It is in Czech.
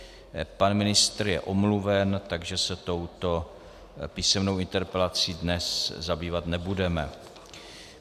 Pan ministr je omluven, takže se touto písemnou interpelací dnes zabývat nebudeme.